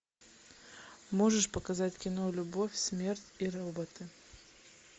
можешь показать кино любовь смерть и роботы